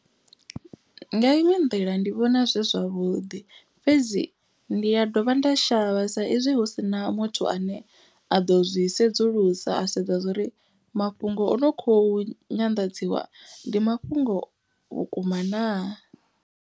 Nga iṅwe nḓila ndi vhona zwi zwavhuḓi fhedzi ndi ya dovha nda shavha sa izwi hu si na muthu ane a ḓo zwi sedzulusa. A sedza zwa uri mafhungo o no kho nyanḓadziwa ndi mafhungo vhukuma naa.